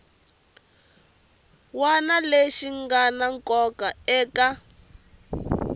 wana lexi ngana nkoka eka